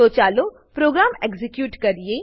તોચાલો program execute કરીએ